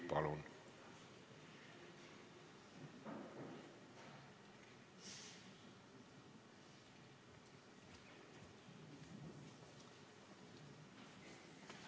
Palun!